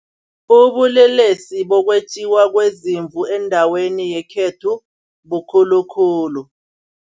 Ubulelesi bokwetjiwa kweeziimvu endaweni yekhethu bukhulu khulu.